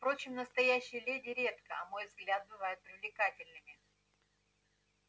впрочем настоящие леди редко на мой взгляд бывают привлекательными